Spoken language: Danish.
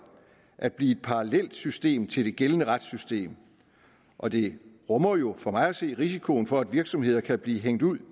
at blive et parallelsystem til det gældende retssystem og det rummer jo for mig at se risiko for at virksomheder kan blive hængt ud